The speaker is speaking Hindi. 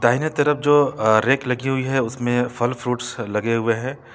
दाहिने तरफ जो रेक लगी हुई है उसमें फल फ्रूट्स लगे हुए हैं ।